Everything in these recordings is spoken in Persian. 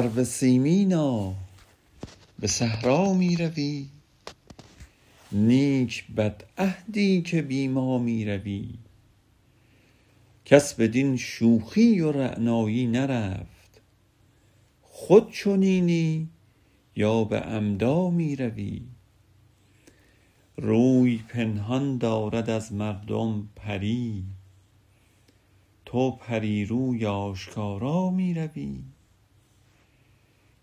سرو سیمینا به صحرا می روی نیک بدعهدی که بی ما می روی کس بدین شوخی و رعنایی نرفت خود چنینی یا به عمدا می روی روی پنهان دارد از مردم پری تو پری روی آشکارا می روی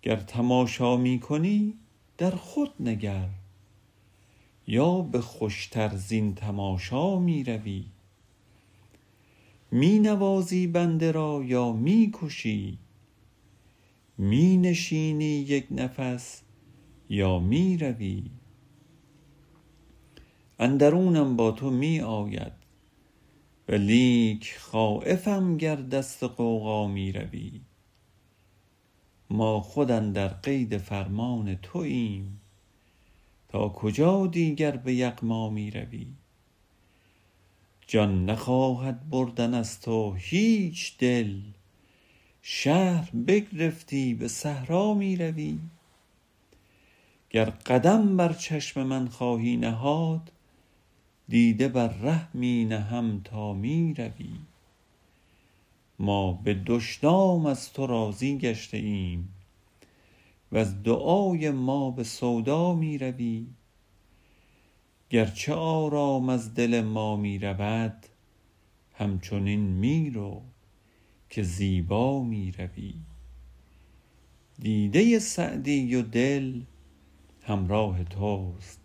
گر تماشا می کنی در خود نگر یا به خوش تر زین تماشا می روی می نوازی بنده را یا می کشی می نشینی یک نفس یا می روی اندرونم با تو می آید ولیک خایفم گر دست غوغا می روی ما خود اندر قید فرمان توایم تا کجا دیگر به یغما می روی جان نخواهد بردن از تو هیچ دل شهر بگرفتی به صحرا می روی گر قدم بر چشم من خواهی نهاد دیده بر ره می نهم تا می روی ما به دشنام از تو راضی گشته ایم وز دعای ما به سودا می روی گرچه آرام از دل ما می رود همچنین می رو که زیبا می روی دیده سعدی و دل همراه توست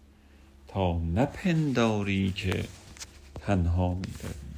تا نپنداری که تنها می روی